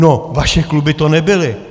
No vaše kluby to nebyly.